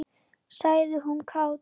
sagði hún kát.